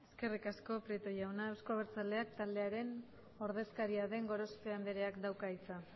eskerrik asko prieto jauna euzko abertzaleak taldearen ordezkaria den gorospe andreak dauka hitza